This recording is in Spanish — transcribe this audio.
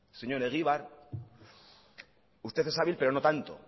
señor egibar usted es hábil pero no tanto